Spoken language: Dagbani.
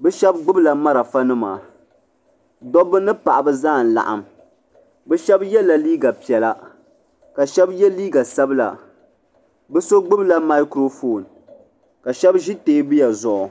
bɛ shɛba gbibila marafa nima dobba ni paɣaba zaa n laɣim bɛ shɛba yela liiga piɛlla ka shɛba ye liiga sabla bɛ so gbibla makurofon ka shɛba ʒi teebuya zuɣu.